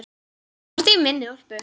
Þú ert í minni úlpu.